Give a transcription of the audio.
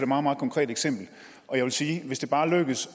meget meget konkrete eksempel og jeg vil sige at hvis det bare lykkes